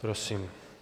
Prosím.